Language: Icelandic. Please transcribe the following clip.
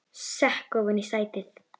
Sekk ofan í sætið.